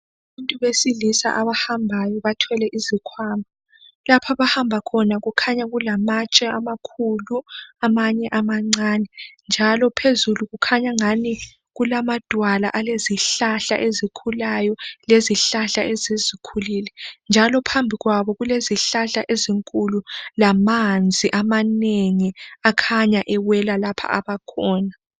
Abantu besilisa abahambayo bathwele izikhwama. Lapha abahamba khona kukhanya kulamatshe amakhulu amanye amancane njalo phezulu kukhanya angani kulamadwala alezihlahla ezikhulayo lezihlahla esezikhulile njalo phambi kwabo kulezihlahla ezinkulu lamanzi amanengi akhanya ewela lapha abakhona.